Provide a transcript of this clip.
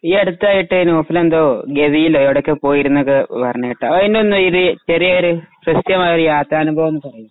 ഈ അടുത്തായിട്ട് നൗഫലെന്തോ ഗവിയിലോ എവിടെക്കൊയോ പോയിരുന്നുന്നൊക്കെ പറയുന്ന കേട്ടു അയിനൊന്നു ഇതു ചെറിയൊരു കൃത്യമായൊരു യാത്ര അനുഭവം പറയു.